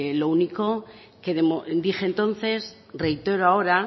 lo único que dije entonces reitero ahora